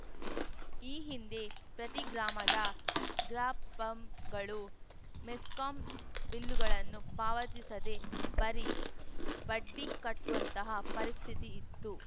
ಈ ಹಿಂದೆ ಪ್ರತಿ ಗ್ರಾಮದ ಗ್ರಾಪಂಗಳು ಮೆಸ್ಕಾಂ ಬಿಲ್ಲುಗಳನ್ನು ಪಾವತಿಸದೇ ಬರೀ ಬಡ್ಡಿ ಕಟ್ಟುವಂತಹ ಪರಿಸ್ಥಿತಿ ಇತ್ತು